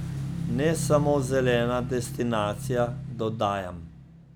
Ne samo zelena destinacija, dodajam.